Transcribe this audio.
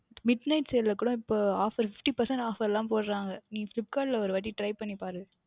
Midnight Sale ல கூட இப்பொழுது OfferFifty PercentageOffer லாம் போடுகின்றனர் நீங்கள் Flipkart ல ஓர் வாற்றி Try பண்ணி பாருங்கள்